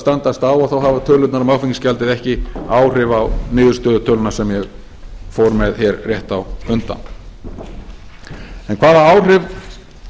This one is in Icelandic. standast á hafa tölurnar um áfengisgjaldið ekki áhrif á niðurstöðutöluna sem ég fór með hér rétt á undan hvaða áhrif